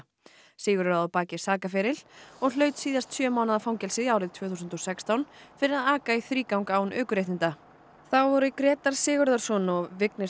Sigurður á að baki sakaferil og hlaut síðast sjö mánaða fangelsi árið tvö þúsund og sextán fyrir að aka í þrígang án ökuréttinda þá eru Grétar Sigurðarson og Vignir